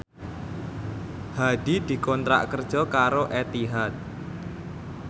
Hadi dikontrak kerja karo Etihad